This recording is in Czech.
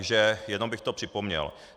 Takže jenom bych to připomněl.